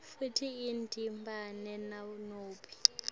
futsi iyadidana nanobe